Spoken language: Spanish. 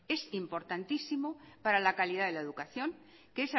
es importantísimo para la calidad de la educación que